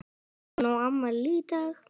Hún á afmæli í dag.